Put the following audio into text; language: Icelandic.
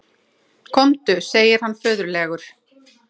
Komdu, segir hann föðurlegur.